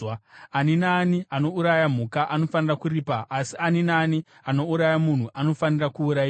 Ani naani anouraya mhuka anofanira kuripa asi ani naani anouraya munhu anofanira kuurayiwa.